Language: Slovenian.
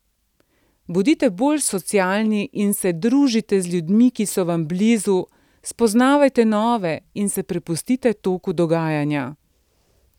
Bodite bolj socialni in se družite z ljudmi, ki so vam blizu, spoznavajte nove in se prepustite toku dogajanja.